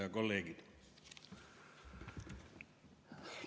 Head kolleegid!